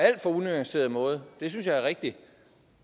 alt for unuanceret måde det synes jeg er rigtigt